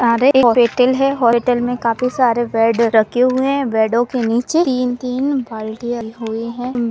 एक हॉस्पिटल है काफी सारे बेड रखे हुए हैं बेड़ो के नीचे तीन-तीन बाल्टिया हुई है।